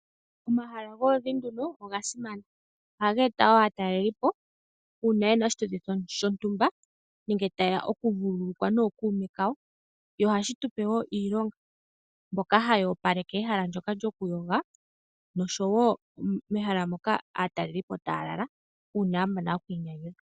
Omahala goludhi nduno oga simana . Ohaga eta woo aatalelipo uuna yena oshituthi shontumba nenge tayeya oku vululukwa nookuume kawo. Ohashi tupe woo iilonga, mboka haya opaleka ehala ndoka lyokuyoga noshowo mehala mono aatalelipo taya lala uuna ya mana oku inyanyadhu .